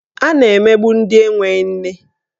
A na-emegbu ndị enwe nne.